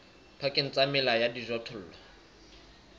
pakeng tsa mela ya dijothollo